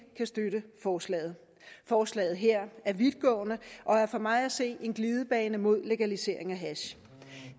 kan støtte forslaget forslaget her er vidtgående og er for mig at se en glidebane mod legalisering af hash